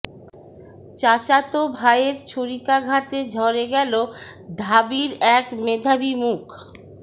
চাচাত ভাইয়ের ছুরিকাঘাতে ঝরে গেল ঢাবির এক মেধাবী মুখ